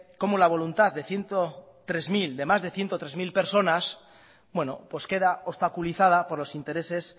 como la voluntad de más de ciento tres mil personas pues queda obstaculizada por los intereses